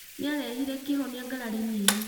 Nĩarehire kĩhonia ngarari-inĩ ĩyo